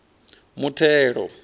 muthelo